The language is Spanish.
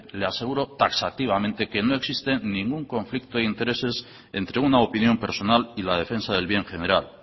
le aseguro taxativamente que no existe ningún conflicto de intereses entre una opinión personal y la defensa del bien general